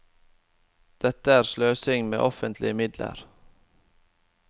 Dette er sløsing med offentlige midler.